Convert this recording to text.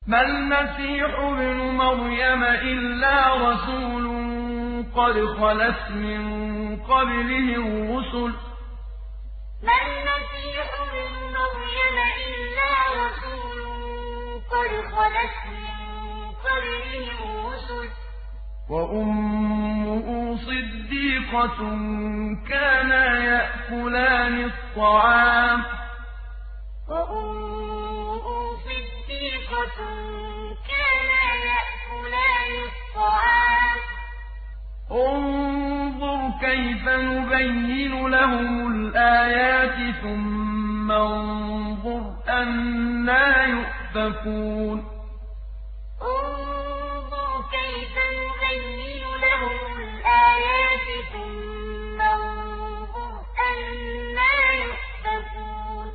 مَّا الْمَسِيحُ ابْنُ مَرْيَمَ إِلَّا رَسُولٌ قَدْ خَلَتْ مِن قَبْلِهِ الرُّسُلُ وَأُمُّهُ صِدِّيقَةٌ ۖ كَانَا يَأْكُلَانِ الطَّعَامَ ۗ انظُرْ كَيْفَ نُبَيِّنُ لَهُمُ الْآيَاتِ ثُمَّ انظُرْ أَنَّىٰ يُؤْفَكُونَ مَّا الْمَسِيحُ ابْنُ مَرْيَمَ إِلَّا رَسُولٌ قَدْ خَلَتْ مِن قَبْلِهِ الرُّسُلُ وَأُمُّهُ صِدِّيقَةٌ ۖ كَانَا يَأْكُلَانِ الطَّعَامَ ۗ انظُرْ كَيْفَ نُبَيِّنُ لَهُمُ الْآيَاتِ ثُمَّ انظُرْ أَنَّىٰ يُؤْفَكُونَ